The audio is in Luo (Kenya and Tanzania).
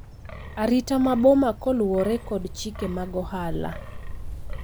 Arita ma boma koluwore kod chike mag ohala